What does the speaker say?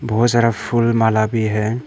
बहुत सारा फूल माला भी है।